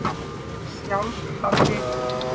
Sjálf hafði